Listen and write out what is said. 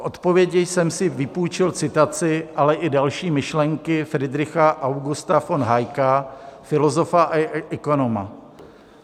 K odpovědi jsem si vypůjčil citaci, ale i další myšlenky Friedricha Augusta von Hayeka, filozofa a ekonoma.